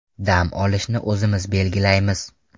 Dam olishni o‘zimiz belgilaymiz.